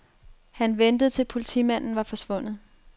Han ventede til politimanden var forsvundet.